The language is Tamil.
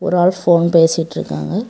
ஒரு ஆள் ஃபோன் பேசிட்டு இருக்காங்க.